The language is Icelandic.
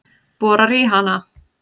Borar í hana.